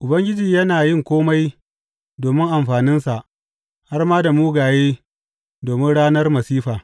Ubangiji yana yin kome domin amfaninsa, har ma da mugaye domin ranar masifa.